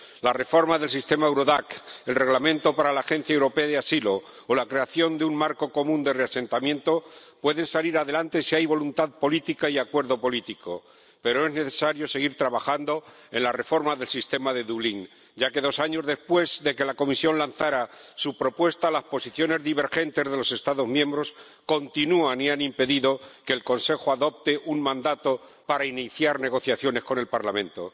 La reforma del sistema Eurodac, el Reglamento para la Oficina Europea de Apoyo al Asilo o la creación de un marco común de reasentamiento pueden salir adelante si hay voluntad política y acuerdo político, pero es necesario seguir trabajando en la reforma del sistema de Dublín ya que, dos años después de que la Comisión lanzara su propuesta, las posiciones divergentes de los Estados miembros continúan y han impedido que el Consejo adopte un mandato para iniciar negociaciones con el Parlamento.